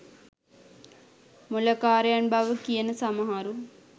මොළකාරයන් බව කියන සමහරු